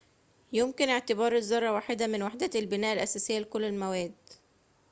يُمكن اعتبار الذرة واحدة من وحدات البناء الأساسية لكل المواد